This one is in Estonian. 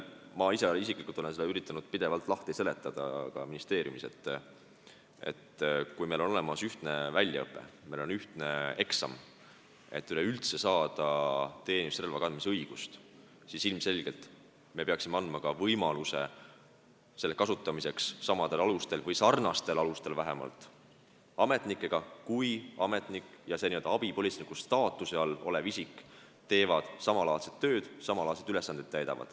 Ma isiklikult olen üritanud seletada ka ministeeriumis, et kui on olemas ühtne väljaõpe, on ühtne eksam, et üleüldse saada teenistusrelva kandmise õigust, siis ilmselgelt me peaksime andma võimaluse seda relva kasutada samadel või vähemalt sarnastel alustel, nagu seda teevad ametnikud, kui ametnikud ja abipolitseiniku staatuses olevad isikud teevad samalaadset tööd ja täidavad samalaadseid ülesandeid.